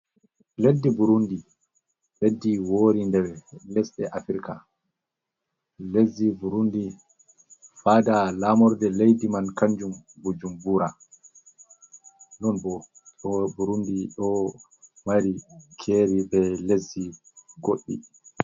Leddi Burundi leddi wori nder lesɗe Africa. Lesdi Burundi fada lamorde laidi man kanjun Bujumbura. Non bo Burundi do mari keri be leszi goɗɗi.